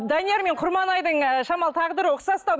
данияр мен құрманайдың ы шамалы тағдыры ұқсастау